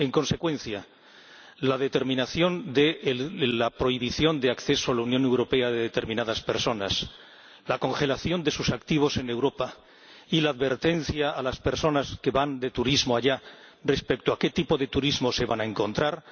En consecuencia, la respuesta necesaria de la Unión es la prohibición de acceso a la Unión Europea de determinadas personas, la congelación de sus activos en Europa y la advertencia a las personas que van de turismo allá respecto a qué tipo de turismo se van a encontrar.